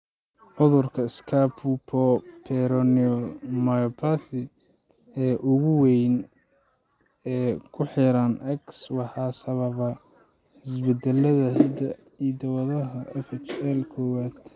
Cudurka 'scapupoperoneal myopathy' ee ugu weyn ee ku xiran X waxaa sababa isbeddellada hidda-wadaha FHL kowad